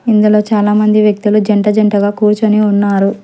ఇందులో చాలామంది వ్యక్తులు జంట జంటగా కూర్చుని ఉన్నారు.